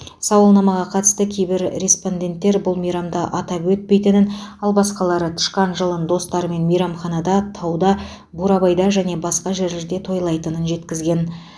сауалнама қатысты кейбір респонденттер бұл мейрамды атап өтпейтінін ал басқалары тышқан жылын достарымен мейрамханаларда тауда бурабайда және басқа жерлерде тойлайтынын жеткізген